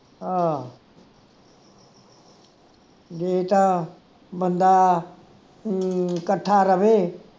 ਆਹ ਜੇ ਤਾਂ ਬੰਦਾ ਹਮ ਕੱਠਾ ਰਵੇ